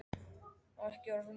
Og ekki orð um það meira!